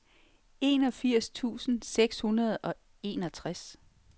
enogfirs tusind seks hundrede og enogtres